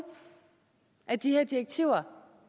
af de her direktiver